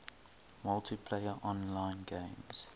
multiplayer online games